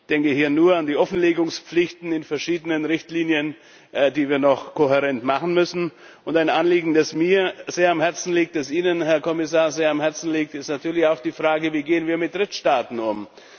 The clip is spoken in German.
Ich denke hier nur an die Offenlegungspflichten in verschiedenen Richtlinien, die wir noch kohärent machen müssen. Und ein Anliegen, das mir sehr am Herzen liegt und das Ihnen, Herr Kommissar, sehr am Herzen liegt, ist natürlich auch die Frage, wie wir mit Drittstaaten umgehen.